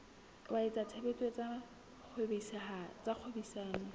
wa etsa tshebetso tsa kgwebisano